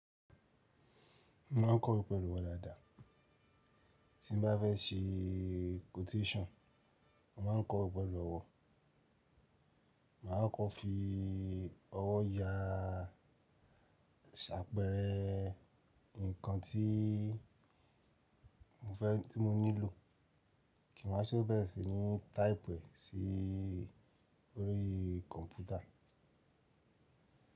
Mo ma ń kọ́ ọ pẹ̀lú ọ̀wọ̀ dáadáa. Tí mo bá fẹ́ ṣe quotation, mo ma ń kọ ọ pẹ̀lú ọ̀wọ̀. Máa kọ́ fi ọ̀wọ̀ ya ṣàpẹẹrẹ nǹkan tí mo fẹ́ tí mo nílò kí n má ṣe ó bẹ̀rẹ̀ sí ní type sí orí kọ̀mpútà.